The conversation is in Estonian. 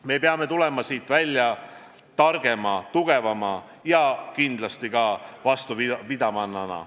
Me peame tulema siit välja targema, tugevama ja kindlasti ka vastupidavamana.